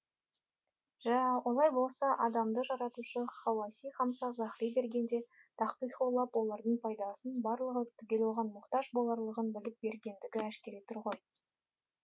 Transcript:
жә олай болса адамды жаратушы хауаси хамса заһри бергенде тахқиқ ойлап олардың пайдасының барлығы түгел оған мұқтаж боларлығын біліп бергендігі әшкере тұр ғой